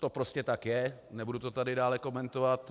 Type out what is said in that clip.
To prostě tak je, nebudu to tady dále komentovat.